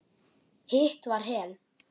Hitt var Hel.